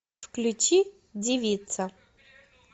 включи девица